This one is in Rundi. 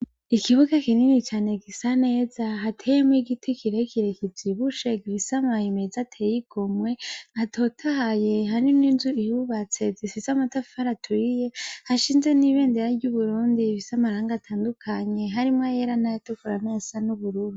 Ikibuga kinini cane gisa neza hateyemwo igiti kirekire kivyibushe gifise amababi meza ateye igomwe atotahaye, hari n'inzu zihubatse zifise amatafari aturiye hashinze n'ibendera ry'Uburundi rifise amarangi atandukanye harimwo ayera n'ayatukura n'ayasa n'ubururu.